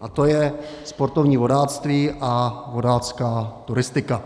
a to je sportovní vodáctví a vodácká turistika.